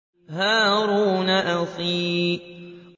هَارُونَ أَخِي